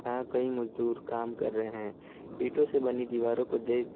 यहां कई मजदूर काम कर रहे हैं ईंटों से बनी दीवारों को देख--